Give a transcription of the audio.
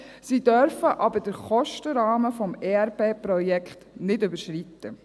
Sie dürfen aber den Kostenrahmen des ERP-Projekts nicht überschreiten.